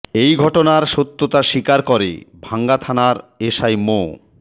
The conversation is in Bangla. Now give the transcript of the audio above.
এ ঘটনার সত্যতা স্বীকার করে ভাঙ্গা থানার এসআই মো